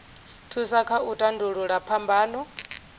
thusa kha u tandulula phambano